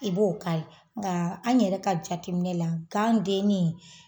I b'o kari nga an yɛrɛ ka jateminɛ la gan denni